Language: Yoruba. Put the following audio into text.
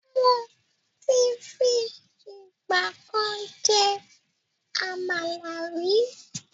Mo tí fi ìgbàkan jẹ Àmàlà ríi